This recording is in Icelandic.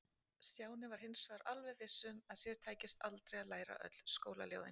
Stjáni var hins vegar alveg viss um að sér tækist aldrei að læra öll skólaljóðin.